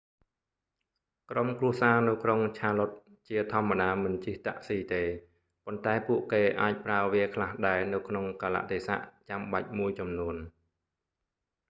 ក្រុមគ្រួសារនៅក្រុង charlotte ជាធម្មតាមិនជិះតាក់ស៊ីទេ ប៉ុន្តែពួកគេអាចប្រើវាខ្លះដែរនៅក្នុងកាលៈទេសៈចាំបាច់មួយចំនួន